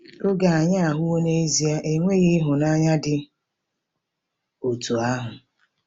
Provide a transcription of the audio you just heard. Oge anyị ahụwo n'ezie enweghị ịhụnanya dị otú ahụ.